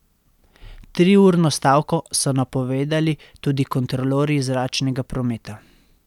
Triurno stavko so napovedali tudi kontrolorji zračnega prometa.